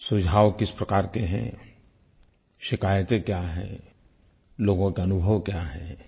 सुझाव किस प्रकार के हैं शिकायतें क्या हैं लोगों के अनुभव क्या हैं